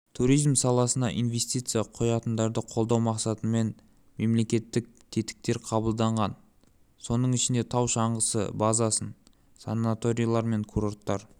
туризм саласына инвестиция құятындарды қолдау мақсатымен мемлекеттік тетіктер қабылданған соның ішінде тау-шаңғысы базасын санаторийлер мен курорттар